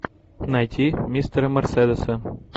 найти мистера мерседеса